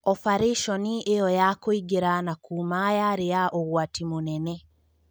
Obarĩconi ĩyo ya kũingĩra na kuuma yarĩ ya ũgwati mũnene.